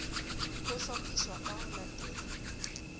ho hlophiswa ka ho latela